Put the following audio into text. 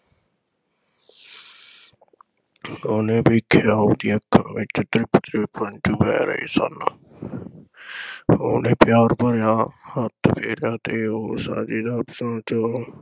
ਉਹਨੇ ਵੇਖਿਆ ਉਹਦੀਆਂ ਅੱਖਾਂ ਵਿਚੋਂ ਤ੍ਰਿਪ ਤ੍ਰਿਪ ਹੰਝੂ ਵਹਿ ਰਹੇ ਸਨ ਉਹਨੇ ਪਿਆਰ ਭਰਿਆ ਹੱਥ ਫੇਰਿਆ ਤੇ ਉਹ